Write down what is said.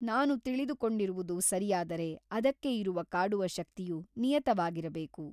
ನಾನು ತಿಳಿದುಕೊಂಡಿರುವುದು ಸರಿಯಾದರೆ ಅದಕ್ಕೆ ಇರುವ ಕಾಡುವ ಶಕ್ತಿಯು ನಿಯತವಾಗಿರಬೇಕು.